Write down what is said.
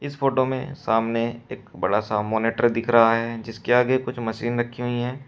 इस फोटो में सामने एक बड़ा सा मॉनिटर दिख रहा है जिसके आगे कुछ मशीन रखी हुई हैं।